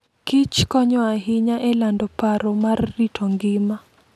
Kich konyo ahinya e lando paro mar rito ngima.